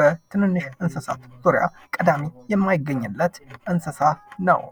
በትንሽ እንስሳዎች ዙሪያ ቀዳሚ የማይገኝለት እንስሳ ነው።